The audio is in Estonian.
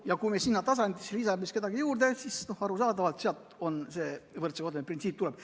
Ja kui me sinna lisame kedagi juurde, siis arusaadavalt sealt see võrdse kohtlemise printsiip tuleb.